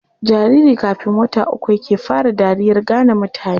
Jariri kafn wata uku yake fara dariyar gane mutane.